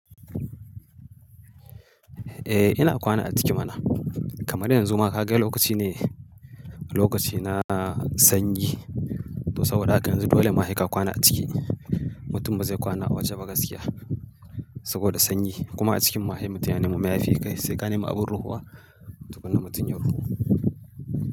Eh ina kwana a ciki mana. Kamar yanzu ma kaga lokaci ne, lokaci na sanyi. To saboda haka yanzu dole ma sai ka kwana a ciki. Mutum ba zai kwana a waje ba gaskiya saboda sanyi. Kuma a cikin mu hai mutum ya nemi mayafi sai ka nemi abun ruhuwa tukuna mutum ya ruhu.